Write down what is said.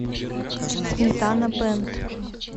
сметана бэнд